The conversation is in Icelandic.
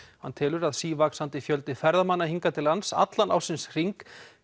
hann telur að sívaxandi fjöldi ferðamanna hingað til lands allan ársins hring